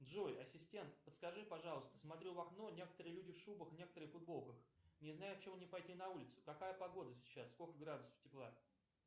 джой ассистент подскажи пожалуйста смотрю в окно некоторые люди в шубах некоторые в футболках не знаю в чем мне пойти на улицу какая погода сейчас сколько градусов тепла